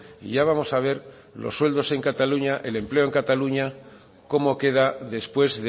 y ya vamos a ver los sueldos en cataluña el empleo en cataluña cómo queda después